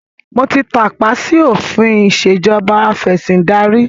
Mo ti tàpá sì òfin ìsèjọba afẹ̀sindarí